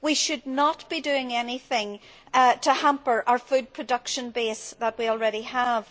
We should not be doing anything to hamper the food production base that we already have.